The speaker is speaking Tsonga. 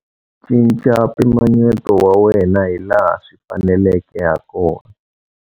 Cinca mpimanyeto wa wena hilaha swi faneleke hakona.